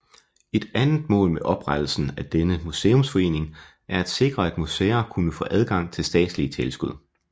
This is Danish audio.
Et andet mål med oprettelsen af denne museumsforening er at sikre at museer kunne få adgang til statslige tilskud